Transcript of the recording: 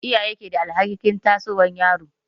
Iyaye ke da alhakin tasowar yaro.